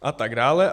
A tak dále.